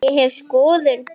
Ég hef skoðun.